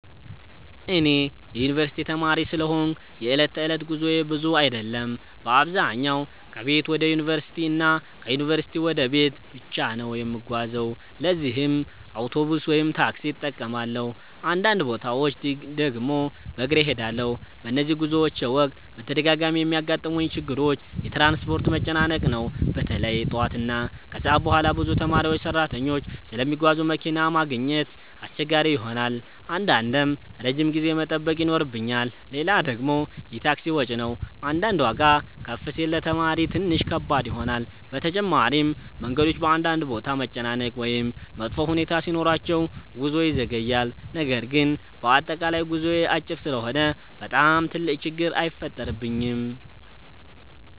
እኔ የዩንቨርሲቲ ተማሪ ስለሆንኩ የዕለት ተዕለት ጉዞዬ ብዙ አይደለም። በአብዛኛው ከቤት ወደ ዩንቨርሲቲ እና ከዩንቨርሲቲ ወደ ቤት ብቻ ነው የምጓዘው ለዚህም አውቶቡስ ወይም ታክሲ እጠቀማለሁ፣ አንዳንድ ቦታዎች ድግም በግሬ እሄዳለሁ። በነዚህ ጉዞዎቼ ወቅት በተደጋጋሚ የሚያጋጥሙኝ ችግሮች የትራንስፖርት መጨናነቅ ነው። በተለይ ጠዋት እና ከሰዓት በኋላ ብዙ ተማሪዎችና ሰራተኞች ስለሚጓዙ መኪና ማግኘት አስቸጋሪ ይሆናል አንዳንዴም ረጅም ጊዜ መጠበቅ ይኖርብኛል። ሌላ ደግሞ የታክሲ ወጪ ነው አንዳንዴ ዋጋ ከፍ ሲል ለተማሪ ትንሽ ከባድ ይሆናል። በተጨማሪም መንገዶች በአንዳንድ ቦታ መጨናነቅ ወይም መጥፎ ሁኔታ ሲኖራቸው ጉዞ ይዘገያል። ነገር ግን በአጠቃላይ ጉዞዬ አጭር ስለሆነ በጣም ትልቅ ችግር አይፈጥርብኝም።